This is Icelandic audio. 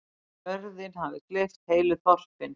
Jörðin hafi gleypt heilu þorpin.